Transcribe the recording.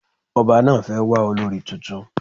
Ọba náà fẹ́ wà olorì tuntun